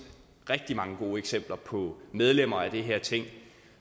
rigtig mange gode eksempler på medlemmer af det her ting